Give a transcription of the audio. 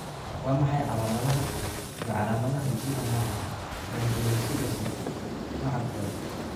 Waa maxay calaamadaha iyo calaamadaha GM1 gangliosidosis nooca kowad?